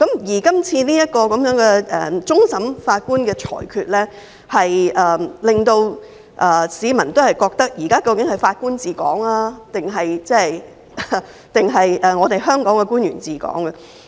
而這次終審法院的裁決，令市民質疑現時究竟是法官治港，還是香港的官員治港？